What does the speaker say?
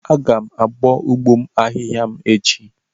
Aga m abọ ụgbọ ahịhịa m echi